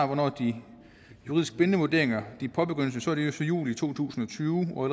hvornår de juridisk bindende vurderinger påbegyndes så efter juli to tusind og tyve og